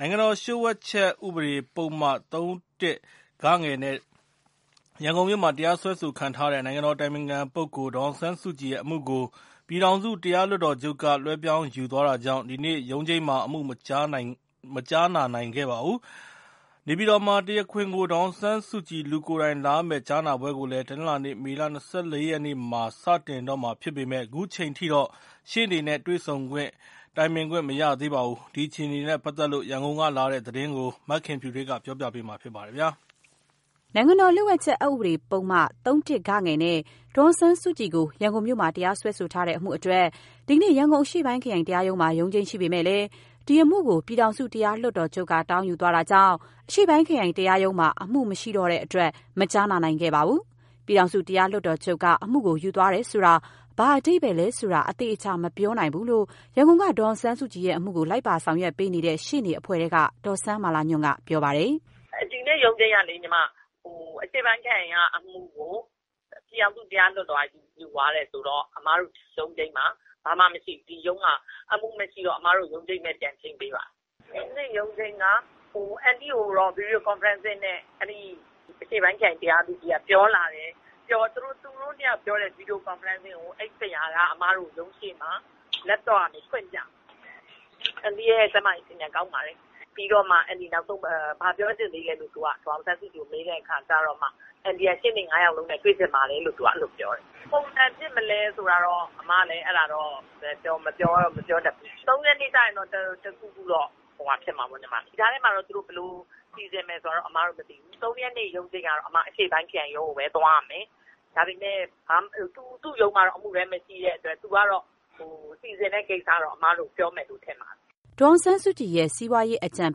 နိုင်ငံတော်လျှို့ဝှက်ချက် ဥပဒေ ပုဒ်မ ၃ နဲ့ ရန်ကုန်မြို့မှာ တရားစွဲဆိုခံထားရတဲ့ နိုင်ငံတော်အတိုင်ပင်ခံပုဂ္ဂိုလ် ဒေါ်အောင်ဆန်းစုကြည်ရဲ့ အမှုကို ပြည်ထောင်စုတရား လွှတ်တော်ချုပ်က တောင်းယူသွားတာကြောင့် ဒီကနေ့ရုံးချိန်းမှာ အမှု မကြားနာနိုင်ခဲ့ပါဘူး။ နေပြည်တော်မှာ တရားခွင်ကို ဒေါ်အောင်ဆန်းစုကြည် လူကိုယ်တိုင်လာရမယ့် ကြားနာပွဲကိုလည်း တနင်္လာနေ့ မေလ ၂၄ ရက်နေ့မှာ စတင်တော့မှာဖြစ်ပေမဲ့ ခုချိန်ထိ ရှေ့နေတွေနဲ့ တေ့ွဆုံ တိုင်ပင်ခွင့် မရသေးပါဘူး။ ဒီအခြေအနေတွေနဲ့ ပတ်သက်လို့ ရန်ကုန်ကလာတဲ့ သတင်းကို မခင်ဖြူထွေးက တင်ပြပါမယ်။ ရန်ကုန်မြို့မှာ နိုင်ငံတော်လျှို့ဝှက်ချက် အက်ဥပဒေပုဒ်မ ၃ နဲ့ ဒေါ်အောင်ဆန်းစုကြည်ကို တရားစွဲထားတဲ့အမှုအတွက် ဒီနေ့ ရန်ကုန်အရှေ့ပိုင်းခရိုင် တရားရုံးမှာ ရုံးချိန်းရှိပေမဲ့ ဒီအမှုကို ပြည်ထောင်စု တရားလွှတ်တော်ချုပ်က တောင်းယူသွားတာကြောင့် အရှေ့ပိုင်းခရိုင် တရားရုံးမှာ အမှုမရှိတော့တဲ့အတွက် မကြားနာနိုင်ခဲ့ပါဘူး။ ပြည်ထောင်စု တရားလွှတ်တော်ချုပ်က အမှုကို ယူသွားတယ်ဆိုတာ ဘာအဓိပ္ပါယ်လဲဆိုတာ အသေအချာ မပြောနိုင်ဘူးလို့ ရန်ကုန်က ဒေါ်အောင်ဆန်းစုကြည် အမှုကို လိုက်ပါဆောင်ရွက်နေတဲ့ ရှေ့နေအဖွဲ့ထဲက ဒေါ်စန်းမာလာညွန့်က ပြောပါတယ်။ "ဒီနေ့ ရုံးချိန်းကလေ အရှေ့ပိုင်းခရိုင်ကအမှုကို ပြည်ထောင်စုတရားလွှတ်တော်က ယူသွားတယ်ဆိုတော့ အမတို့ရုံးချိန်းမှာ ဘာမှ မရှိဘူး။ အခု ဒီရုံးမှာ အမတို့ ရုံးချိန်းပဲ ပြန်ချိန်းပေးပါတယ်။ အန်တီ့ကိုတော့ video conferencing နဲ့ အရှေ့ပိုင်းခရိုင်တရားသူကြီး... သူတို့နှစ်ယောက် ပြောတဲ့ video conferencing ကို အဲဒီဆရာက laptop ကနေ အမတို့ကို ဖွင့်ပြတယ်။ အန်တီ့ရဲ့ ကျန်းမာရေးအခြေအနေကောင်းပါတယ်။ ပြီးတော့မှ အန်တီ နောက်ဆုံးဘာပြောချင်သေးလဲလို့ သူက ဒေါ်အောင်ဆန်းစုကြည်ကို မေးတဲ့အခါကျတော့မှ အန်တီက ရှေ့နေ ၅ ယောက်လုံးနဲ့ သူတွေ့ချင်ပါတယ်လို့ ပြောတယ်။ ဘယ်လိုပုံစံဖြစ်မလဲဆိုတာတော့ အမလည်း အဲဒါတော့ မပြောတတ်ဘူး။ ၃ ရက်နေ့ကျရင်တော့ တခုခုတော့ ဖြစ်မှာပေါ့။ ဒီကြားထဲမှာ သူတို့ ဘယ်လို စီစဉ်မယ်ဆိုတာတော့ အမတို့ မသိဘူး။ ၃ ရက်နေ့ရုံးချိန်းကတော့ အမ အရှေ့ပိုင်းခရိုင်ရုံးချိန်းကိုပဲ သွားရမယ်။ ဒါပေမဲ့ သူ့ရုံးမှာတော့ အမှုတွဲမရှိတဲ့အတွက် သူကတော့ စီစဉ်မယ့် ကိစ္စတော့ အမတို့ကို ပြောမယ်လို့ ထင်ပါတယ်။" ဒေါ်အောင်ဆန်းစုကြည်ရဲ့ စီးပွားရေးအကြံ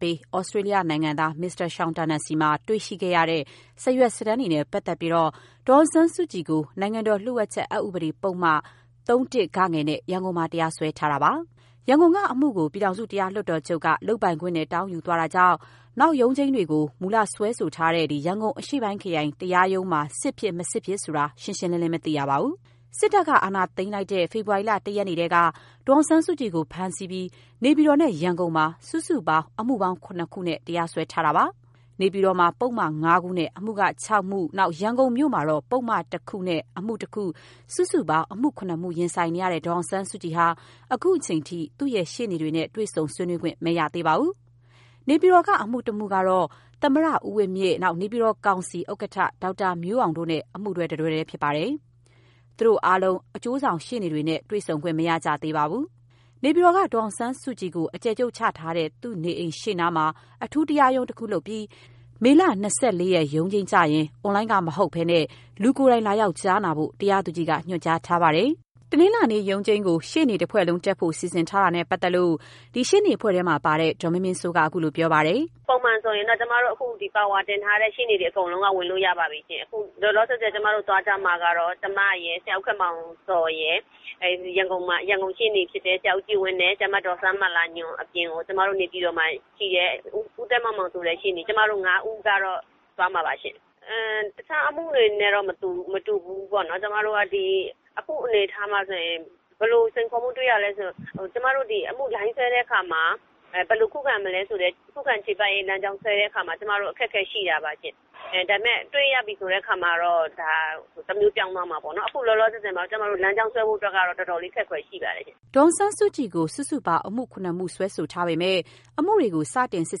ပေး Australia နိုင်ငံသား မစ္စတာရှောင်တာနယ်ဆီမှာ တွေ့ရှိတဲ့ စာရွက်စာတမ်းတွေနဲ့ ပတ်သက်ပြီး ဒေါ်အောင်ဆန်းစုကြည်ကို နိုင်ငံတော်လျှို့ဝှက်ချက် အက်ဥပဒေပုဒ်မ ၃ နဲ့ ရန်ကုန်မှာ တရားစွဲထားတာဖြစ်ပါတယ်။ ရန်ကုန်က အမှုကို ပြည်ထောင်စုတရားလွှတ်တော်ချုပ်က လုပ်ပိုင်ခွင့်နဲ့ တောင်းယူသွားတာကြောင့် နောက်ရုံးချိန်းတွေကို မူလစွဲဆိုထားတဲ့ ရန်ကုန်အရှေ့ပိုင်းခရိုင် တရားရုံးမှာ စစ်ဖြစ် မစစ်ဖြစ်ဆိုတာကို ရှင်းရှင်းလင်းလင်း မသိရသေးပါဘူး။ စစ်တပ်က အာဏာသိမ်းတဲ့ ဖေဖော်ဝါရီလ ၁ ရက်နေ့ထဲက ဒေါ်အောင်ဆန်းစုကြည်ကို ဖမ်းဆီးပြီး နေပြည်တော်နဲ့ ရန်ကုန်မှာ စုစုပေါင်း အမှုပေါင်း ၇ ခုနဲ့ တရားစွဲထားတာပါ။ နေပြည်တော်မှာ ပုဒ်မ ၅ ခုနဲ့ အမှု ၆ မှု၊ ရန်ကုန်မြို့မှာ ပုဒ်မ ၁ ခုနဲ့ အမှု ၁ ခု စုစုပေါင်း အမှု ၇ ခုနဲ့ ရင်ဆိုင်နေရတဲ့ ဒေါ်အောင်ဆန်းစုကြည်ဟာ ခုချိန်ထိ သူ့ရဲ့ ရှေ့နေတွေနဲ့ တွေ့ဆုံ ဆွေးနွေးခွင့် မရသေးပါဘူး။ နေပြည်တော်က အမှုတခုက သမ္မတဦးဝင်းမြင့်၊ နေပြည်တော်ကောင်စီ ဥက္ကဋ္ဌ ဒေါက်တာမျိုးအောင်တို့နဲ့ အမှုတွဲ ၁ ခုထဲဖြစ်ပါတယ်။ သူတို့အားလုံး အကျိုးဆောင် ရှေ့နေတွေနဲ့ တေ့ွဆုံခွင့် မရကြသေးပါဘူး။ နေပြည်တော်က ဒေါ်အောင်ဆန်းစုကြည်ကို အကျယ်ချုပ်ချထားတဲ့ သူ့နေအိမ်နားမှာ အထူးတရားရုံး တခုလုပ်ပြီး မေလ ၂၄ ရက်နေ့ ရုံးချိန်းကျရင် အွန်လိုင်းကမဟုတ်ဘဲ လူကိုယ်တိုင်လာရောက် ကြားနာဖို့ တရားသူကြီးက ညွှန်ကြားထားပါတယ်။ တနင်္လာနေ့ ရုံးချိန်းကို ရှေ့နေ တဖွဲ့လုံး တက်ဖို့ စီစဉ်ထားတာနဲ့ ပတ်သက်လို့ မရသေးတာနဲ့ပတ်သက်လို့ ရှေ့နေအဖွဲ့ထဲပါတဲ့ ဒေါ်မင်းမင်းစိုးက ခုလိုပြောပါတယ်။ "ပုံမှန်ဆိုရင်တော့ ပါဝါတင်ထားတဲ့ ရှေ့နေတွေ အကုန်လုံးက ဝင်လို့ရပါပြီရှင့်။ လောလောဆယ်တော့ သွားကြမှာကတော့ ကျမရယ်၊ ဆရာ ဦးခင်မောင်ဇော်ရယ်၊ ရန်ကုန်ရှေ့နေဖြစ်တဲ့ ဆရာ ဦးကြည်ဝင်းနဲ့ ဆရာမ ဒေါ်စန်းမာလာညွန့်အပြင်ကို ကျမတို့ နေပြည်တော်မှာ ရှိတဲ့ ဦးသန်းမောင်မောင်ဆိုတဲ့ ရှေ့နေ ကျမတို့ ၅ ဦးကတော့ သွားမှာပါရှင့်။ တခြားအမှုတွေနဲ့ မတူဘူးပေါ့နော်။ အခုအနေအထားမှာဆိုရင် ဘယ်လို စိန်ခေါ်မှုတွေ့ရလဲဆိုရင် ကျမတို့ ဒီအမှုလိုင်း ဆွဲတဲ့အခါမှာ ဘယ်လို ခုခံမလဲဆိုတဲ့ ခုခံချေပရေးလမ်းကြောင်းဆွဲတဲ့နေရာမှာ ကျမတို့ အခက်အခဲရှိတာပါရှင့်။ ဒါပေမဲ့ တွေ့ရပြီဆိုရင်တော့ တမျိုးပြောင်းသွားမှာပေါ့နော်။ အခုလောလောဆယ်တော့ ကျမတို့ လမ်းကြောင်းဆွဲဖို့က တော်တော်လေးအခက်အခဲရှိပါတယ်ရှင့်။" ဒေါ်အောင်ဆန်းစုကြည်ကို စုစုပေါင်း အမှု ၇ ခု စွဲဆိုထားပေမဲ့ အမှုတွေကို စတင်စစ်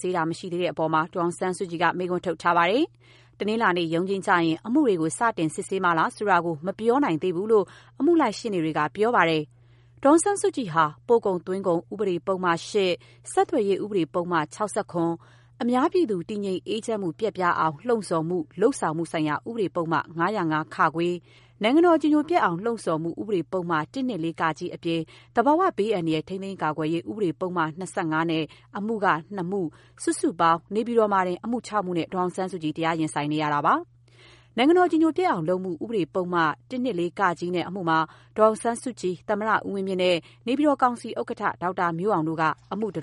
ဆေးခြင်း မရှိသေးတဲ့အပေါ် ဒေါ်အောင်ဆန်းစုကြည်က မေးခွန်းထုတ်ထားပါတယ်။ တနင်္လာနေ့ ရုံးချိန်းကျရင် အမှုတွေကို စတင် စစ်ဆေးမှာလားဆိုတာကို မပြောနိုင်သေးဘူးလို့ အမှုလိုက် ရှေ့နေတွေက ပြောပါတယ်။ ဒေါ်အောင်ဆန်းစုကြည်ဟာ ပို့ကုန်သွင်းကုန်ဥပဒေပုဒ်မ ၈၊ ဆက်သွယ်ရေးဥပဒေ ပုဒ်မ ၆၇၊ အများပြည်သူ တည်ငြိမ်အေးချမ်းမှု ပျက်ပြားအောင် လှုံ့ဆော်မှု လုပ်ဆောင်မှုဆိုင်ရာ ဥပဒေပုဒ်မ ၅၀၅ ၊ နိုင်ငံတော်အကြည်ညိုပျက်အောင် လှုံ့ဆော်မှုဥပဒေ ပုဒ်မ ၁၂၄ တို့အပြင် သဘာဝဘေးအန္တရာယ် ထိန်းသိမ်းကာကွယ်ရေး အက်ဥပဒေ ပုဒ်မ ၂၅ နဲ့ အမှု ၂ ခု၊ စုစုပေါင်း နေပြည်တော်မှာ အမှု ၆ မှုနဲ့ ဒေါ်အောင်ဆန်းစုကြည် တရားရင်ဆိုင်နေရပါတယ်။ နိုင်ငံတော် အကြည်အညိုပျက်အောင်လုပ်မှု ဥပဒေ ပုဒ်မ ၁၂၄ နဲ့ အမှုမှာ ဒေါ်ဆောင်ဆန်းစုကြည်၊ သမ္မတဦးဝင်းမြင့်နဲ့ နေပြည်တော် ကောင်စီဥက္ကဋ္ဌ ဒေါက်တာမျိုးအောင်တို့က အမှုတွဲ